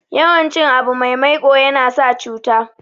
yawan cin abu mai maiko yana sa cuta